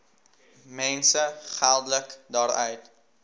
mense geldelik daaruit